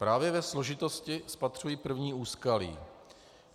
Právě ve složitosti spatřuji první úskalí.